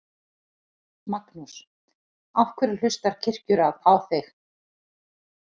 Magnús: Af hverju hlustar Kirkjuráð á þig?